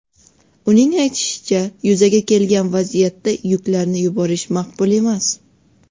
Uning aytishicha, yuzaga kelgan vaziyatda yuklarni yuborish maqbul emas.